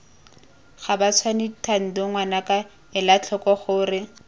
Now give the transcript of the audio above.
gabatshwane thando ngwanaka elatlhoko gore